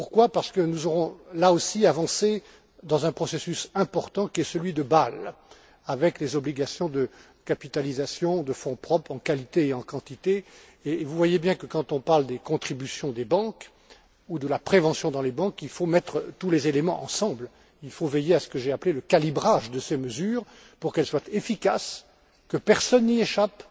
Parce que nous aurons là aussi avancé dans un processus important qui est celui de Bâle, avec les obligations de capitalisation de fonds propres en qualité et en quantité. Vous savez bien que lorsqu'on parle des contributions des banques ou de la prévention dans les banques, il faut mettre tous les éléments ensemble, il faut veiller à ce que j'ai appelé le calibrage de ces mesures pour qu'elles soient efficaces et que personne n'y échappe.